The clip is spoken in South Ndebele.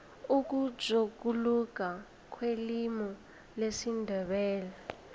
ukutjhuguluka kwelimu lesindebele